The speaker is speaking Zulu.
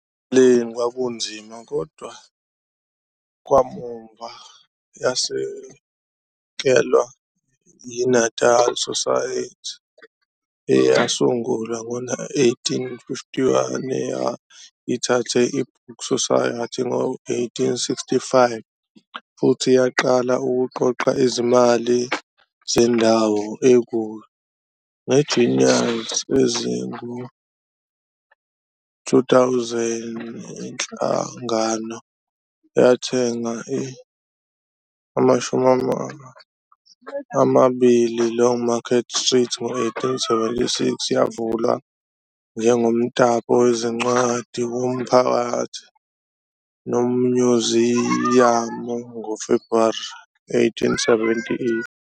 Ekuqaleni kwakunzima, kodwa kamuva yasekelwa yi-Natal Society, eyasungulwa ngo-1851, eyayithathe i-Book Society ngo-1865, futhi yaqala ukuqoqa izimali zendawo ekuyo. Nge-guineas ezingu-2,000, iNhlangano yathenga i-20 Longmarket Street ngo-1876, yavulwa njengomtapo wezincwadi womphakathi nomnyuziyamu ngoFebruary 1878.